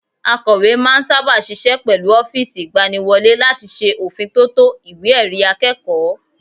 Akọ̀we máa ń sáábà ṣiṣẹ́ pẹ̀lú ọ́fíìsì ìgbaniwọlé láti ṣe òfin tótó ìwé ẹ̀rí akẹ́kọ̀ọ́